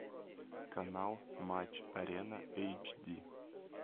канал матч арена эйч ди